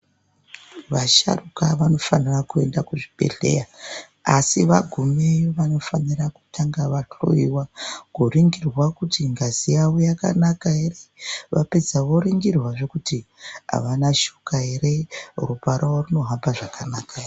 Vasharuka vanofanira kuenda kuzvibhedhleya, asi vagumeyo vanofanira kutanga vahloiwa, kuringirwa kuti ngazi yavo yakanaka ere, vapedza voringirwazve kuti avana shuka ere, ropa ravo rinohamba zvakanaka ere.